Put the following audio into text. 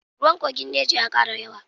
Ruwan kogin neja ya kara yawa.